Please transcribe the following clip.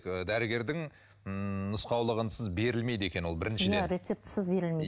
ы дәрігердің ммм нұсқаулығынсыз берілмейді екен ол біріншіден рецептсіз берілмейді